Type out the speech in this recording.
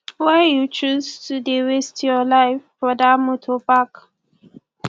why you choose to dey waste your life for dat moto park